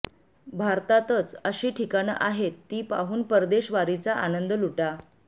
भारतातचं अशी ठिकाणं आहेतं ती पाहून परदेशवारीचा आनंद लुटा